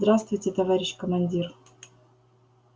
здравствуйте товарищ командир